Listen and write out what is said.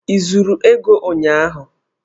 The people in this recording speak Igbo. I zuru ego ụnyahụ!